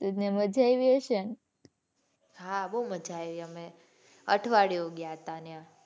ત્યાં મજા આવી હશે ને. હાં બહુ મજા આવી અમે અઠવાડિયુ ગયા હતા ત્યાં.